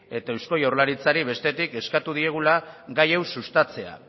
eta eusko jaurlaritzari bestetik eskatu diegula gai hau sustatzea